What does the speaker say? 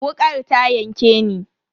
Wukar ta yanke ni.